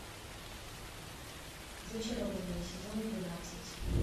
зачарованные сезон двенадцать